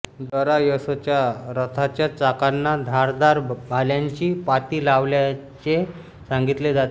दरायसच्या रथाच्या चाकांना धारदार भाल्यांची पाती लावल्याचे सांगितले जाते